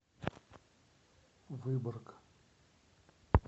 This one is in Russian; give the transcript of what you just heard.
выборг